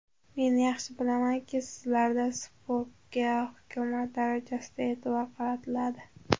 Men yaxshi bilamanki, sizlarda sportga hukumat darajasida e’tibor qaratiladi.